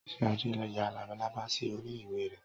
Sade ya lábàlábà sí orí ìwé rẹ̀.